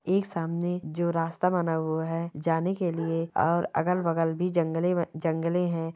एक सामने जो रास्ता बना हुआ है जाने के लिए और अगल बगल भी जंगले जंगले है।